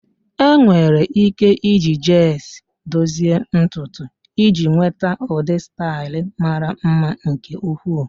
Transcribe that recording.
Enwere ike iji gels dozie ntutu iji nweta ụdị staịl mara mma nke ukwuu.